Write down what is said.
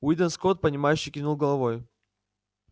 уидон скотт понимающе кивнул головой